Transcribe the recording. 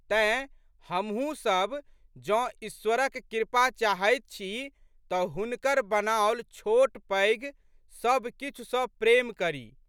तेँ, हमहूँ सब जौं ईश्वरक क़पा चाहैत छी तऽ हुनकर बनाओल छोटपैघ सबकिछु सँ प्रेम करी।